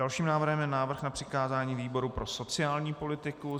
Dalším návrhem je návrh na přikázání výboru pro sociální politiku.